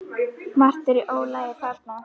Margt er í ólagi þarna.